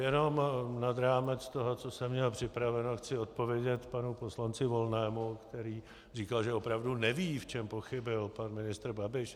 Jenom nad rámec toho, co jsem měl připraveno, chci odpovědět panu poslanci Volnému, který říkal, že opravdu neví, v čem pochybil pan ministr Babiš.